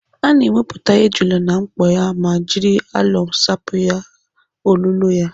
Ana ewepụta ejula na mkpo ya ma jiri alọm sapụ olụlọ ya.